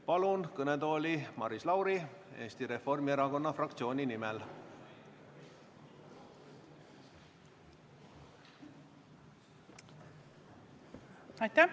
Palun kõnetooli Maris Lauri Eesti Reformierakonna fraktsiooni nimel!